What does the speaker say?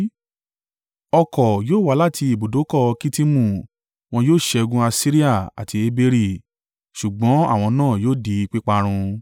Ọkọ̀ yóò wá láti ibùdókọ̀ Kittimu; wọn yóò ṣẹ́gun Asiria àti Eberi, ṣùgbọ́n àwọn náà yóò di píparun.”